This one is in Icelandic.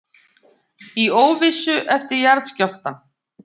Í óvissu eftir jarðskjálftann